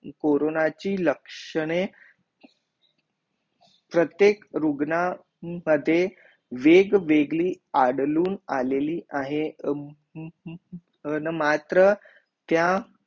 कोरोनाची लक्षणे प्रत्येक रुग्ण मध्ये वेग वेगली आदळून आलेली आहे ना मात्र त्या